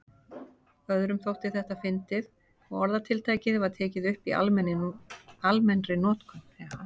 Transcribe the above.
Öðrum þótti þetta fyndið og orðatiltækið var tekið upp í almennri notkun.